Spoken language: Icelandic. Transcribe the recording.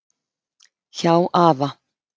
Hjá afa.